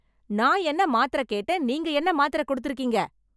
நான் என்ன மாத்திரை கேட்டேன் நீங்க என்ன மாத்திரை கொடுத்து இருக்கீங்க?